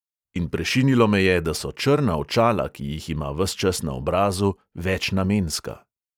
In prešinilo me je, da so črna očala, ki jih ima ves čas na obrazu, večnamenska.